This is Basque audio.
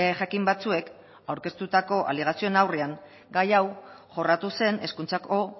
jakin batzuek aurkeztutako alegazioen aurrean gai hau jorratu zen hezkuntzako